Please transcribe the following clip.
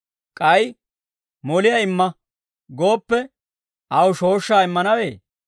K'ay, ‹Moliyaa imma› gooppe, aw shooshshaa immanawee?